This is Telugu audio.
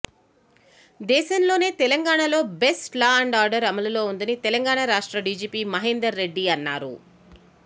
దేశంలోనే తెలంగాణలో బెస్ట్ లా అండ్ ఆర్డర్ అమలులో ఉందని తెలంగాణ రాష్ట్ర డిజిపి మహేందర్ రెడ్డి అన్నారు